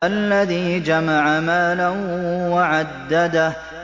الَّذِي جَمَعَ مَالًا وَعَدَّدَهُ